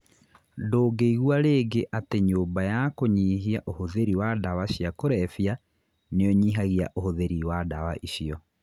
Ndungĩigua rĩngĩ ati nyũmba ya kũnyihia ũhũthĩri wa ndawa cia kũrebia niũnyihagia ũhuthiri wa dawa icio.